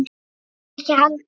Þeir ekki heldur.